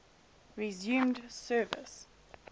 resumed service